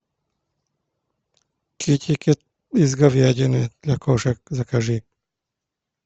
китикет из говядины для кошек закажи